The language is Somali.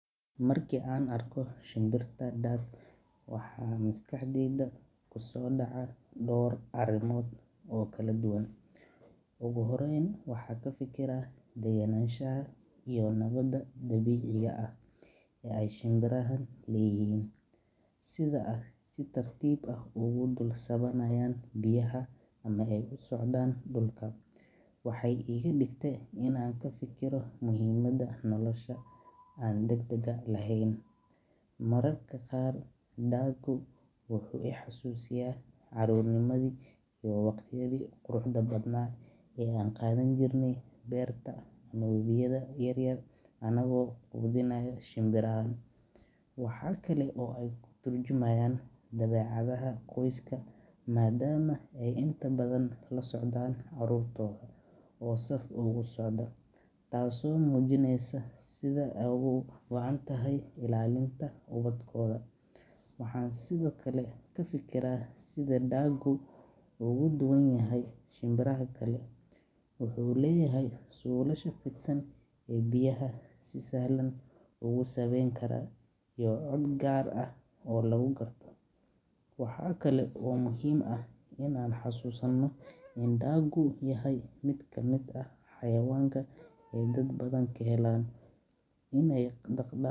Marka aan arko shinbirta duck, waxaa maskaxdayda ku soo dhaca dhowr arrimood oo kala duwan. Ugu horreyn, waxaan ka fikiraa degganaanshaha iyo nabadda dabiiciga ah ee ay shinbirahan leeyihiin. Sida ay si tartiib ah ugu dul sabbaynayaan biyaha ama ay u socdaan dhulka, waxay iga dhigtay inaan ka fikiro muhiimadda nolosha aan degdegga lahayn. Mararka qaar, duck-gu wuxuu i xasuusiyaa carruurnimadii iyo waqtiyadii quruxda badnaa ee aan ku qaadan jirnay beerta ama webiyada yar yar anagoo quudinayna shinbirahan. Waxa kale oo ay ka tarjumayaan dabeecadaha qoyska, maadaama ay inta badan la socdaan carruurtooda oo saf ugu socda, taasoo muujinaysa sida ay uga go’an tahay ilaalinta ubadkooda. Waxaan sidoo kale ka fikiraa sida duck-gu uga duwan yahay shinbiraha kale wuxuu leeyahay suulasha fidsan ee biyaha si sahlan ugu sabbeyn kara, iyo cod gaar ah oo lagu garto. Waxa kale oo muhiim ah inaan xusuusnaano in duck-gu yahay mid ka mid ah xayawaanka ay dad badan ka helaan inay dhaq.